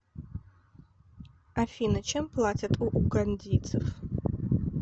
афина чем платят у угандийцев